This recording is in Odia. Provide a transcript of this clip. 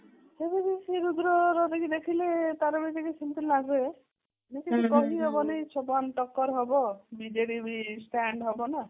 ସେମିତି ସେ ରୁଦ୍ରର ଦେଖିଲେ ତାର ବି ଟିକେ ସେମିତି ଲାଗେ କି କିଛି କହି ହବନି ସମାନ ଟକ୍କର ହବ ବିଜେଡି ବି stand ହବ ନା